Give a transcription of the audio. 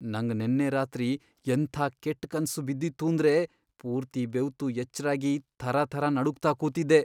ನಂಗ್ ನೆನ್ನೆ ರಾತ್ರಿ ಎಂಥಾ ಕೆಟ್ಟ್ ಕನ್ಸ್ ಬಿದ್ದಿತ್ತೂಂದ್ರೆ ಪೂರ್ತಿ ಬೆವ್ತು ಎಚ್ರಾಗಿ ಥರಥರ ನಡುಗ್ತಾ ಕೂತಿದ್ದೆ.